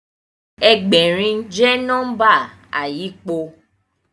Ẹgbẹ̀rin jẹ́ nọ́mbà àyípo